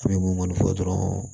fɔ dɔrɔn